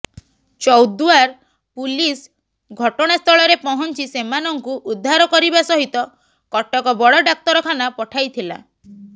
Choudwar police ଘଟଣାସ୍ଥଳରେ ପହଞ୍ଚି ସେମାନଙ୍କୁ ଉଦ୍ଧାର କରିବା ସହିତ କଟକ ବଡ଼ ଡାକ୍ତରଖାନା ପଠାଇଥିଲା